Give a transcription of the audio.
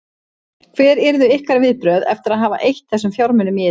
Hver yrðu ykkar viðbrögð eftir að hafa eytt þessum fjármunum í þetta?